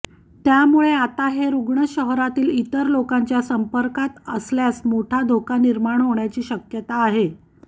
त्यामुळे आता हे रूग्ण शहरातील इतर लोकांच्या संपर्कात आल्यास मोठा धोका निर्माण होण्याची शक्याता आहे